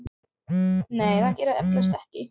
Nei, það gerir það eflaust ekki.